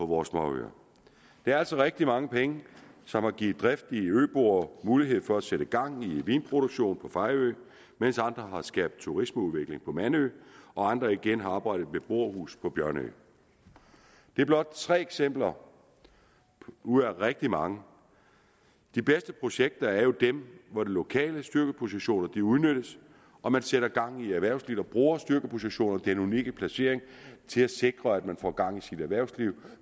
vores småøer det er altså rigtig mange penge som har givet driftige øboer mulighed for at sætte gang i vinproduktion på fejø mens andre har skabt turismeudvikling på mandø og andre igen har oprettet et beboerhus på bjørnø det er blot tre eksempler ud af rigtig mange de bedste projekter er jo dem hvor de lokale styrkepositioner udnyttes og man sætter gang i erhvervslivet bruger styrkepositioner og den unikke placering til at sikre at man får gang i sit erhvervsliv